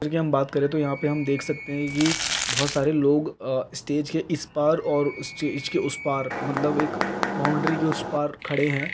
हम बात करे तो यहाँ पे हम देख सकते है बहुत सारे लोग स्टेज के इस पार और स्टेज के उस पार मतलब के बाउंड्री के उस पार खड़े--